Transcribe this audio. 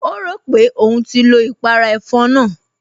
O rò pé òun ti lo ìpàrà ẹ̀fọn náà